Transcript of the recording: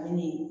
Ani